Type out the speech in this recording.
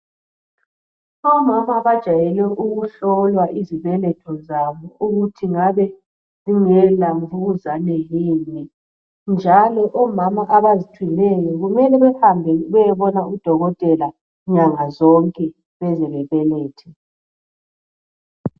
Omama bajayele ukuhlolwa izibeletho zabo ukuthi ngabe zingabe zingela mvukuzane yini njalo omama abazithweleyo kufanele bayobona odokotela nyangazonke beze bebelethe.